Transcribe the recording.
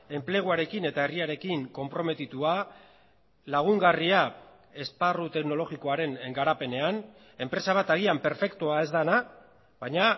enpleguarekin eta herriarekin konprometitua lagungarria esparru teknologikoaren garapenean enpresa bat agian perfektua ez dena baina